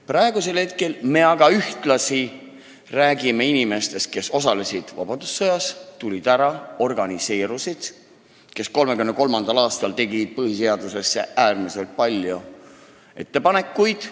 Praegu me aga räägime inimestest, kes osalesid vabadussõjas, tulid ära, organiseerusid ja kes 1933. aastal tegid põhiseaduse kohta äärmiselt palju ettepanekuid.